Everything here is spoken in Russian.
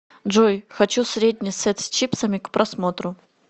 джой хочу средний сет с чипсами к просмотру